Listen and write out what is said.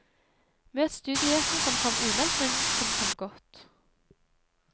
Møt studiogjesten som kom umeldt, men som kom godt.